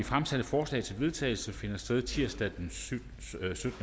fremsatte forslag til vedtagelse finder sted tirsdag den syttende